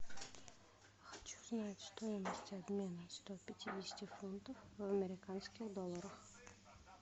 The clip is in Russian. хочу знать стоимость обмена сто пятидесяти фунтов в американских долларах